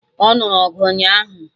Ọ nụrụ ọgụ ụnyaahụ